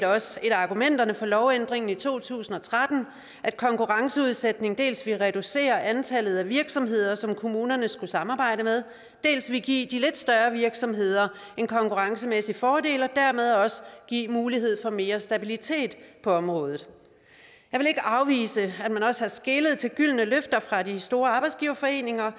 også et af argumenterne for lovændringen i to tusind og tretten at konkurrenceudsættelse dels ville reducere antallet af virksomheder som kommunerne skulle samarbejde med dels ville give de lidt større virksomheder en konkurrencemæssig fordel og dermed også give mulighed for mere stabilitet på området jeg vil ikke afvise at man også har skelet til gyldne løfter fra de store arbejdsgiverforeninger